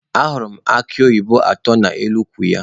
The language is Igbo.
Ahụrụ m akụ oyibo atọ n'elu ukwu ya.